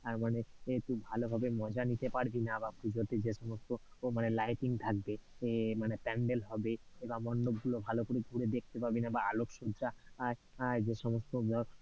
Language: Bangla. আহ মানে তুই ভালোভাবে মজা নিতে পারবিনা বা, পূজোর দিন যে সমস্ত মানে lighting থাকবে, এর মানে pandel হবে, এর এবং মণ্ডপ গুলো ভালো করে ঘুরে দেখতে পারবিনা বা আলোক সজ্জায় আহ আহ যে সমস্ত ধর,